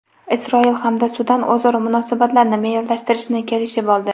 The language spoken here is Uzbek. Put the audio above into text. Isroil hamda Sudan o‘zaro munosabatlarni me’yorlashtirishni kelishib oldi.